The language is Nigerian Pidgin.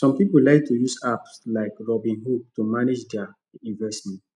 some people like to use apps like robinhood to manage their investment